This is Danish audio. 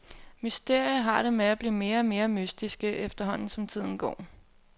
Mysterier har det med at blive mere og mere mystiske, efterhånden som tiden går.